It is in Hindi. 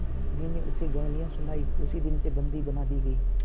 मैंने उसे गालियाँ सुनाई उसी दिन से बंदी बना दी गई